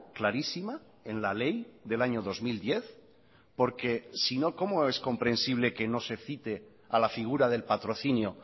clarísima en la ley del año dos mil diez porque sino cómo es comprensible que no se cite a la figura del patrocinio